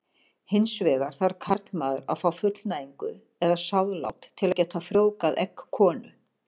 Hins vegar þarf karlmaður að fá fullnægingu eða sáðlát til að geta frjóvgað egg konu.